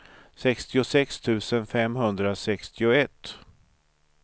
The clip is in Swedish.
sextiosex tusen femhundrasextioett